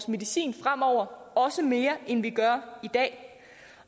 medicinen fremover og også mere end vi gør i dag